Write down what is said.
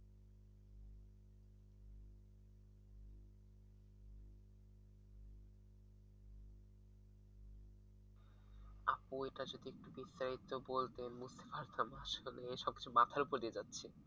আপু এটা যদি একটু বিস্তারিত বলতেন বুঝতে পারতাম আসলে এ সবকিছু মাথার উপর দিয়ে যাচ্ছে।